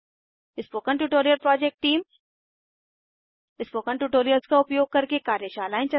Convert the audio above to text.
spoken tutorial project team spoken tutorials का उपयोग करके कार्यशालाएं चलाती है